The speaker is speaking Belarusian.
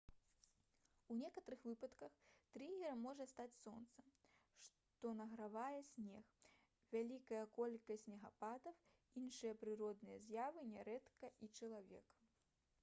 у некаторых выпадках трыгерам можа стаць сонца што награвае снег вялікая колькасць снегападаў іншыя прыродныя з'явы нярэдка і чалавек